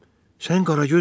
Sən Qaragözsən?